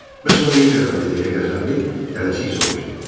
Bəs o niyə gəlmədi deyə qəzəbli tələsik soruşdu.